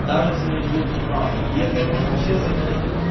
даже если не будут не правы и это я думаю все заметили